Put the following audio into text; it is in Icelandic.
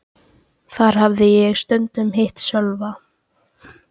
Þar hafði ég stundum hitt Sölva.